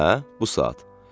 Hə? Bu saat?